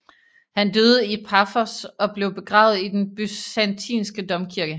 Han døde i Paphos og blev begravet i den byzantinske domkirke